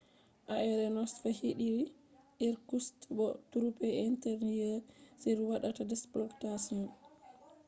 aircraft hediri irkutsk bo interior troops on waɗata operating